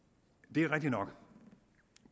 det er rigtigt nok